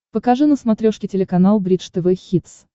покажи на смотрешке телеканал бридж тв хитс